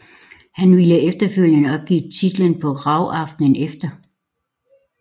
Hart ville efterfølgende opgive titlen på RAW aftenen efter